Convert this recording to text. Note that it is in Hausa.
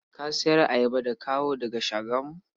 Ka sayar ayaba da kawo daga Shagamu?